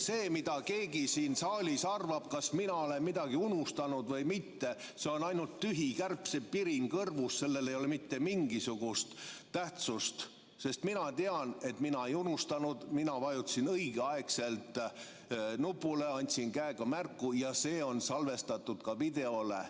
See, mida keegi siin saalis arvab, et kas mina olen midagi unustanud või mitte, on ainult tühi kärbsepirin kõrvus, sellel ei ole mitte mingisugust tähtsust, sest mina tean, et mina ei unustanud, mina vajutasin õigeaegselt nupule, andsin käega märku, see on salvestatud ka videole.